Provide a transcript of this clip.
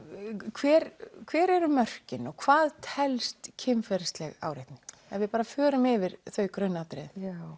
hver hver eru mörkin og hvað telst kynferðileg áreitni ef við bara förum yfir þau grunnatriði